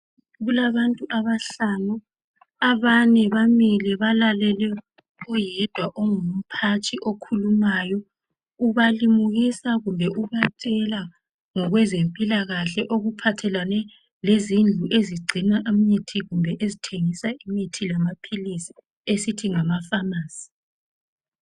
Kulabantu abahlanu. Abane bamile balalele oyedwa ongumphathi okhulumayo. Ubalimukisa kumbe ubatshela ngokwezempilakahle okuphathelane ngezindlu ezigcima imithi kumbe ezithengisa imithi esithi ngama pharmacy.